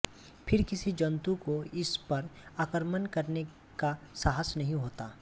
फिर किसी जंतु को इस पर आक्रमण करने का साहस नहीं होता